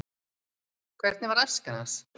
hvernig var æska hans